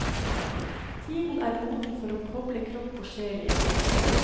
Tiden er moden for å koble kropp og sjel igjen.